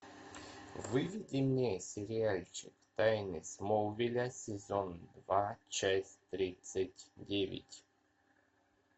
выведи мне сериальчик тайны смолвиля сезон два часть тридцать девять